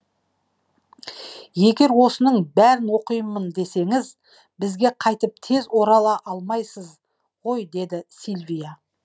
егер осының бәрін оқимын десеңіз бізге қайтып тез орала алмайсыз ғой деді сильвия